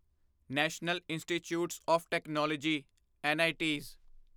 national institutes of technology knits